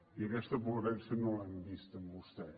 i aquesta coherència no l’hem vista en vostè